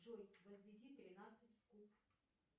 джой возведи тринадцать в куб